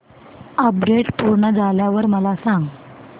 update पूर्ण झाल्यावर मला सांग